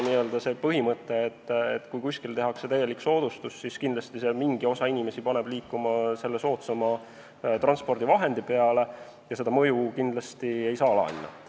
Kindlasti ka teie põhimõte, et kui kuskil tehakse täielik soodustus, siis mingi osa inimesi liigub soodsama transpordivahendi peale, on õige ja selle mõju ei saa alahinnata.